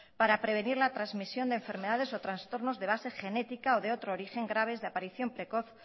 para prevenir la transmisión de enfermedades o trastornos de base genética o de otro origen graves de aparición precoz